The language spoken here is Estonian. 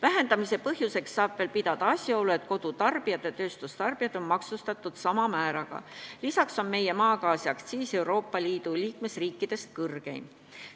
Alandamise põhjuseks saab veel pidada asjaolu, et kodutarbijad ja tööstustarbijad on maksustatud sama määraga, lisaks on meie maagaasi aktsiis Euroopa Liidu liikmesriikides kõrgeim.